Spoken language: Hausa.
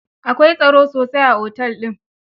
Akawai tsaro sosai a otel din.